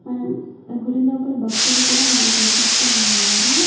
మనం గుడి లోపల భక్తులు కూడా మనకి కనిపిస్తూ ఉన్నారు.